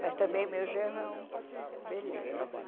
Mas também o meu genro é um, beleza.